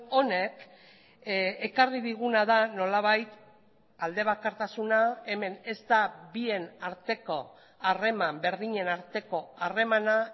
honek ekarri diguna da nolabait alde bakartasuna hemen ez da bien arteko harreman berdinen arteko harremana